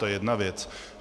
To je jedna věc.